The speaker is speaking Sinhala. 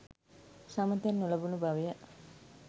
සම තැන් නොලැබුණු බව ය.